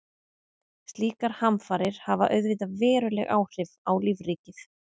Slíkar hamfarir hafa auðvitað veruleg áhrif á lífríkið.